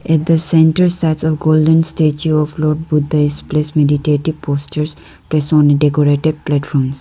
At the center stands a golden statue of lord buddha is placed meditative posters placed on the decorative platforms.